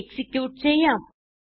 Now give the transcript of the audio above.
execute ചെയ്യാം